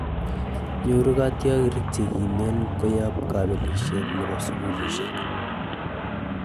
Nyoru kotyorik chegimen koyop kopelishet nepo sugulishek